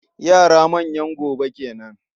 Yara manyan gobe kenan.